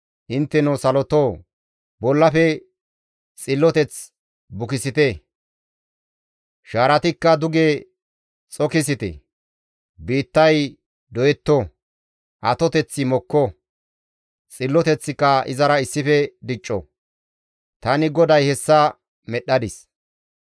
Intteno salotoo, bollafe xilloteth bukisite; shaaratikka duge xokisite; biittay doyetto; atoteththi mokko. Xilloteththika izara issife dicco. Tani GODAY hessa medhdhadis.